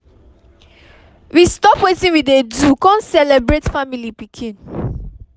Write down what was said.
we stop wetin we dey do con celebrate family pikin